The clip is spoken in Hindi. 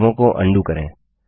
बदलावों को अंडू करें